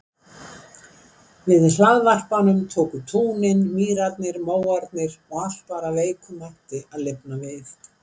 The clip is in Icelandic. Við hlaðvarpanum tóku túnin mýrarnar móarnir og allt var af veikum mætti að lifna við.